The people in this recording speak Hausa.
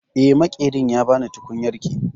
Eh, Maƙerin ya ba ni tukunyarki